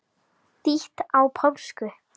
Þýtt á pólsku.